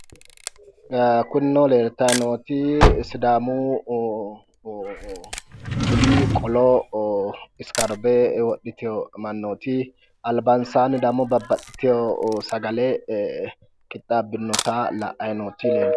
Kunino leeltayi nooti sidaamu budi qolo isikaarvr wodhitewo mannooti albansaanni dammo babbaxitewo sagale qixxaabbinota la'ayi nooti